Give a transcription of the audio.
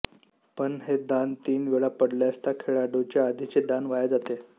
पण हे दान तीन वेळा पडल्यास त्या खेळाडूचे आधीचे दान वाया जाते